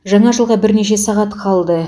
жаңа жылға бірнеше сағат қалды